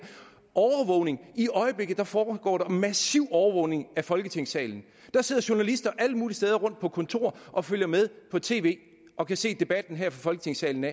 i øjeblikket foregår der massiv overvågning af folketingssalen der sidder journalister alle mulige steder rundt på kontorer og følger med på tv og kan se debatten her i folketingssalen